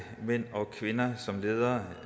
mænd og kvinder som ledere